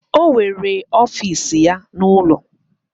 O nwere ọfiisi ya n'ụlọ.